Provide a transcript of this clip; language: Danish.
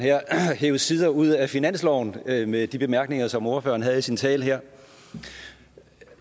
hev sider ud af finansloven med med de bemærkninger som ordføreren havde i sin tale her